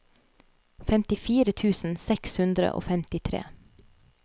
femtifire tusen seks hundre og femtitre